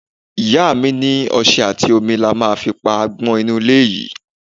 Ìyá mi ní ọṣẹ àti omi la ma fi pa agbon inú ilé yìí.